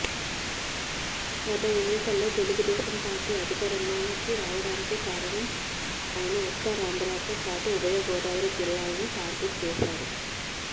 గత ఎన్నికల్లో తెలుగుదేశం పార్టీ అదికారంలోకి రావడానికి కారణం అయిన ఉత్తరాంధ్రతో పాటు ఉభయగోదావరి జిల్లాలను టార్గెట్ చేశారు